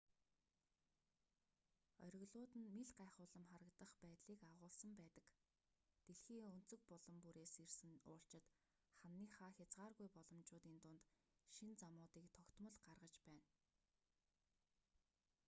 оргилууд нь мэл гайхуулам харагдах байдлыг агуулсан байдаг дэлхийн өнцөг булан бүрээс ирсэн уулчид хананыхаа хязгааргүй боломжуудын дунд шинэ замуудыг тогтмол гаргаж байна